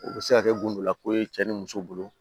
O bɛ se ka kɛ gundola ko ye cɛ ni muso bolo